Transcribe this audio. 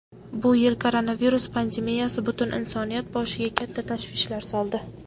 Bu yil koronavirus pandemiyasi butun insoniyat boshiga katta tashvishlar soldi.